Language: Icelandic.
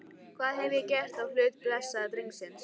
Hvað hef ég gert á hlut blessaðs drengsins?